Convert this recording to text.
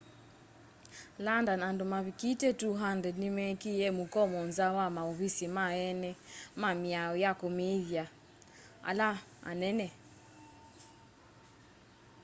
london andu mavikite 200 ni mekiie mukomo nza wa mauvisi ma eene ma mĩao ya kumĩthya ala anene